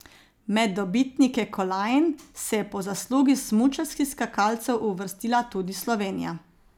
Med dobitnike kolajn se je po zaslugi smučarskih skakalcev uvrstila tudi Slovenija.